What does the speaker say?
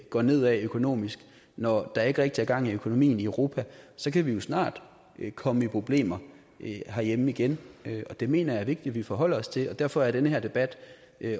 går nedad økonomisk når der ikke rigtig er gang i økonomien i europa så kan vi jo snart komme i problemer herhjemme igen det mener jeg er vigtigt vi forholder os til og derfor er den her debat